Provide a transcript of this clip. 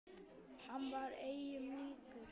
Hann var engum líkur.